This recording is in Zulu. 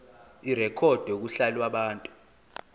irekhodwe kuhla lwabantu